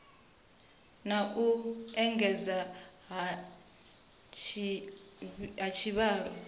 na u engedzedzea ha tshivhalo